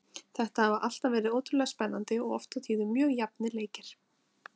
Þetta hafa alltaf verið ótrúlega spennandi og oft á tíðum mjög jafnir leikir.